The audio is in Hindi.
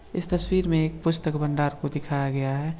इस तस्वीर में एक पुस्तक भंडार को दिखाया गया है।